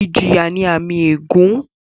Ìjìyà jẹ́ àmì ègún